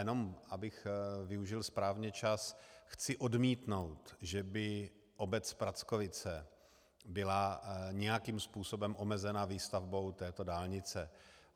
Jenom abych využil správně čas, chci odmítnout, že by obec Prackovice byla nějakým způsobem omezena výstavbou této dálnice.